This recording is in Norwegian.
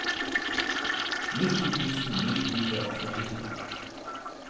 nitti tusen ni hundre og førtito